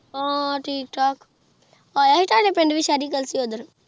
ਹਾਂ ਠੀਕ ਥਕ ਯਾ ਸੀ ਤ੍ਵਾਦੇ ਪਿੰਡ ਵੀ ਓਹ੍ਦਰ